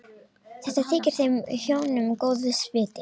Þetta þykir þeim hjónum góðs viti.